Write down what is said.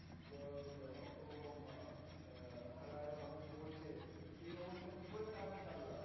তো সেই অবস্থায় কি করে কাজ চালু রাখবে?